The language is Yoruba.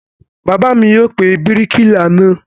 Bàbá mi yóò pe bíríkìlà náà.